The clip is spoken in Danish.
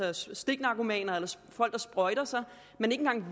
altså stiknarkomaner folk der sprøjter sig man